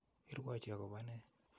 Irwuochi akopo nee?